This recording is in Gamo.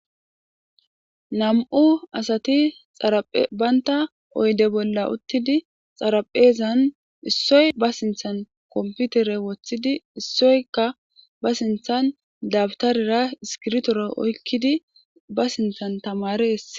Nam'u asati xaraphe baynta oyde bolla uttidi xaraphezan issoy ba sinthan komputere woththidi issoyka ba sinthan dabtarira iskirtora oykkidi ba sinthan tamare essi..